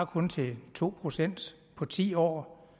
kun til to procent på ti år